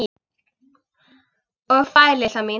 Og fær, litla mín.